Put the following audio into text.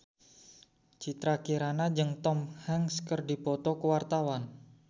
Citra Kirana jeung Tom Hanks keur dipoto ku wartawan